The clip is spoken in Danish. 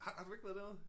Har du ikke været derude?